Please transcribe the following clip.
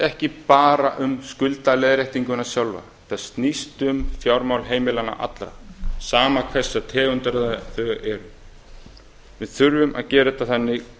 ekki bara um skuldaleiðréttinguna sjálfa þetta snýst um fjármál heimilanna allra sama hverrar tegundir þau eru við þurfum að gera þetta þannig